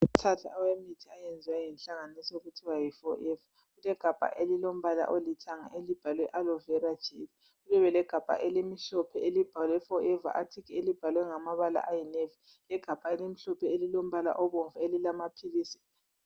Imixhaka awemithi eyenzwe yinhlanganiso okuthiwa yi forever kulegabha elilombala olithanga elibhalwe aloe vera gel libe legabha elimhlophe elibhalwe forever aricle elibhalwe ngamabala ayinavy legabha elimhlophe elilombala obomvu elilamaphilisi.